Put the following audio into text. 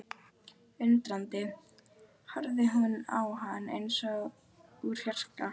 Undrandi horfði hún á hann eins og úr fjarska.